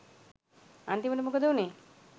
අන්තිමට මොකද වුනේ